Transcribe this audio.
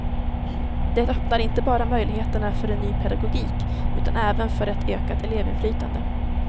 Det öppnar inte bara möjligheterna för en ny pedagogik utan även för ett ökat elevinflytande.